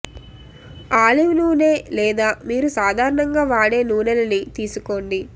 olive నూనే లేదా మీరు సాధారణంగా వాడే నూనె లని తీసుకోండి